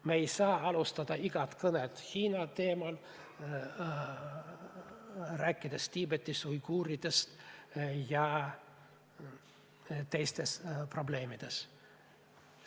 Me ei saa alustada igat kõnet Hiina teemal, rääkides Tiibetis uiguuridest ja teistest probleemidest.